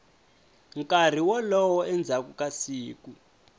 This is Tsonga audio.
nkarhi wolowo endzhaku ka siku